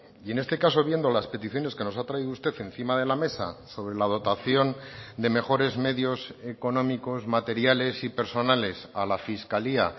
y en este caso viendo las peticiones que nos ha traído usted encima de la mesa sobre la dotación de mejores medios económicos materiales y personales a la fiscalía